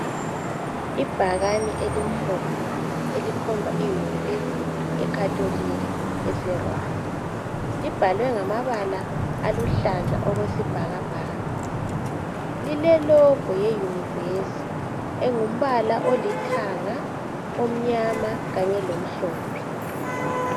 Ibhakane elimhlophe elikhomba uyunivesi yekhatolika ese Rwanda, libhalwe ngamabala aluhlaza okwesibhakabhaka lile "logo" yeyunivesi engumbala olithanga omnyama kanye lomhlophe .